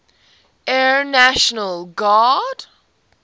air national guard